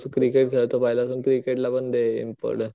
cricket खेळतो पहिल्यापासून तू क्रिकेट ला पण दे इम्पॉर्टन्स